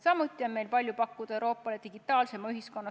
Samuti on meil palju Euroopale pakkuda, et saavutada digitaalsem ühiskond.